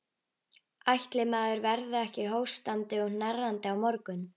Ætli maður verði ekki hóstandi og hnerrandi á morgun.